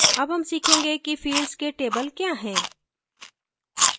अब हम सीखेंगे कि fields के table we हैं